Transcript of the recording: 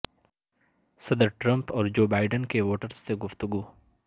صدر ٹرمپ اور Joe Biden کی ووٹرز سے گفتگو